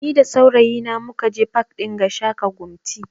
Ni da saurayi na mukaje pak ɗin Gashaka Gumti